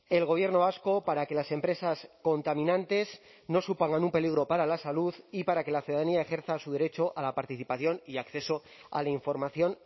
el gobierno vasco para que las empresas contaminantes no supongan un peligro para la salud y para que la ciudadanía ejerza su derecho a la participación y acceso a la información